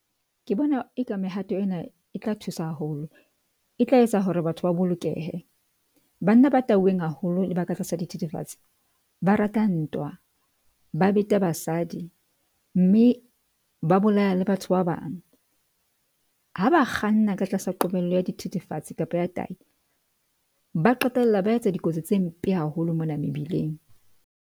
Ke bona e ka mehato ena e tla thusa haholo, e tla etsa hore batho ba bolokehe. Banna ba tauweng haholo le ba ka tlasa dithethefatsi. Ba rata ntwa, ba beta basadi mme ba bolaya le batho ba bang. Ha ba kganna ka tlasa qobello ya dithethefatsi kapa ya tayi ba qetella ba etsa dikotsi tse mpe haholo mona mebileng.